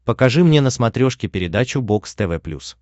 покажи мне на смотрешке передачу бокс тв плюс